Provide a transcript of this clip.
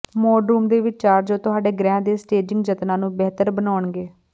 mudroom ਦੇ ਵਿਚਾਰ ਜੋ ਤੁਹਾਡੇ ਗ੍ਰਹਿ ਦੇ ਸਟੇਜਿੰਗ ਯਤਨਾਂ ਨੂੰ ਬਿਹਤਰ ਬਣਾਉਣਗੇ